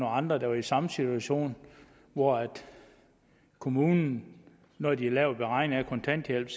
andre der var i samme situation hvor kommunen når de har lavet beregning af kontanthjælp